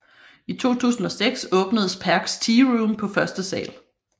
I 2006 åbnedes Perchs Tearoom på første sal